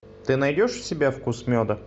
ты найдешь у себя вкус меда